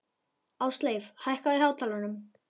Ásleif, hækkaðu í hátalaranum.